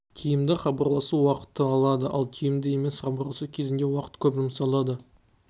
тиімді хабарласу уақытты алады ал тиімді емес хабарласу кезінде уақыт көп жұмсалады